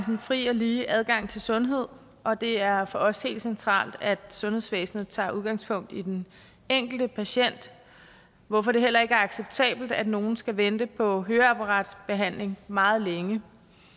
den fri og lige adgang til sundhed og det er for os helt centralt at sundhedsvæsenet tager udgangspunkt i den enkelte patient hvorfor det heller ikke er acceptabelt at nogen skal vente på høreapparatbehandling meget længe